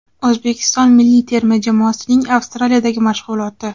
O‘zbekiston milliy terma jamoasining Avstraliyadagi mashg‘uloti.